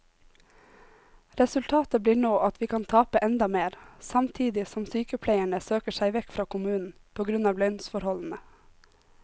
Resultatet blir nå at vi kan tape enda mer, samtidig som sykepleierne søker seg vekk fra kommunen på grunn av lønnsforholdene.